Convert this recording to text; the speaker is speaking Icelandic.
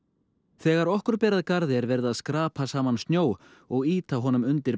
þegar okkur ber að garði er verið að skrapa saman snjó og ýta honum undir